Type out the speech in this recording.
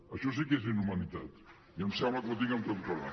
això sí que és inhumanitat i em sembla que ho dic amb tota claredat